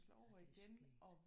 Ej det er skægt